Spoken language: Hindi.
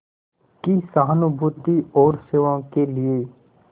की सहानुभूति और सेवा के लिए